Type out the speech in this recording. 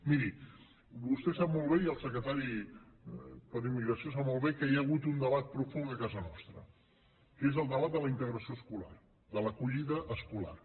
miri vostè sap molt bé i el secretari per a la immigració sap molt bé que hi ha hagut un debat profund a casa nostra que és el debat de la integració escolar de l’acollida escolar